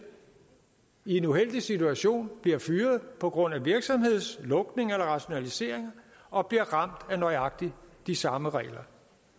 i en uheldig situation bliver fyret på grund af virksomhedslukning eller rationaliseringer og bliver ramt af nøjagtig de samme regler